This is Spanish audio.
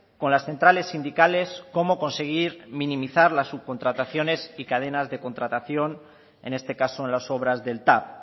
con las centrales sindicales cómo conseguir minimizar la subcontrataciones y cadenas de contratación en este caso en las obras del tav